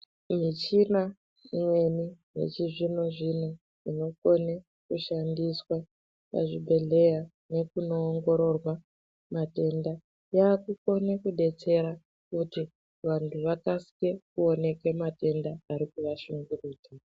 Michina imweni yechizvino zvino inokone kushandiswa pazvibhekera nekuno ongororwa matenda yava kukone kudetsera kuti vantu vakasire kuoneka matenda ari kuva shungurudza.